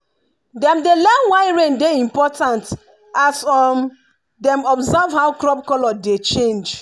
dem dey learn why rain dey important as dem observe how crop colour dey change.